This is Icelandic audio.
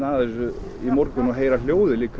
í morgun og heyra hljóðið